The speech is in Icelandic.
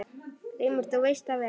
GRÍMUR: Þú veist það vel.